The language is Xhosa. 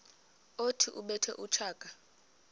othi ubethe utshaka